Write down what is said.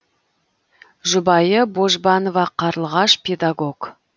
жұбайы божбанова қарлығаш педагог